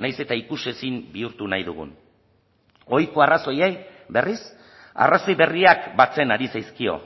nahiz eta ikusezin bihurtu nahi dugun ohiko arrazoiei berriz arrazoi berriak batzen ari zaizkio